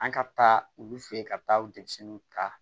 An ka taa olu fɛ yen ka taa denmisɛnninw ta